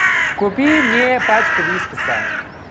купи мне пачку вискаса